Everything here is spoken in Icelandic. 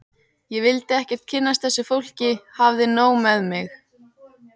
Ég vildi ekkert kynnast þessu fólki, hafði nóg með mig.